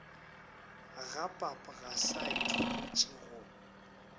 ga pap ga saetholotši go